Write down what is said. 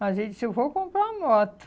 Mas ele disse, eu vou comprar uma moto.